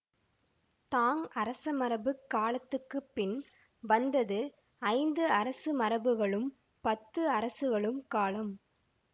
தாங் அரசமரபுக் காலத்துக்கு பின் வந்தது ஐந்து அரசமரபுகளும் பத்து அரசுகளும் காலும்